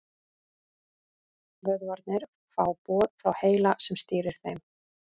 Vöðvarnir fá boð frá heila sem stýrir þeim.